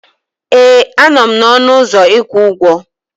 Ee, a nọ m n'ọnụ ụzọ ịkwụ ụgwọ.